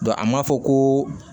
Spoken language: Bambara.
a ma fɔ ko